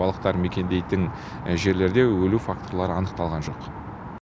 балықтар мекендейтін жерлерде өлу фактылары анықталған жоқ